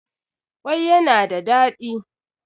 kwai yana da dadi